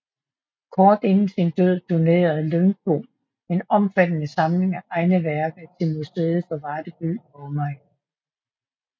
Kort inden sin død donerede Lyngbo en omfattende samling af egne værker til Museet for Varde By og Omegn